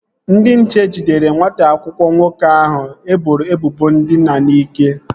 Ndị nche jidere nwata akwụkwọ nke nwoke ahụ e boro ebubo ndina n'ike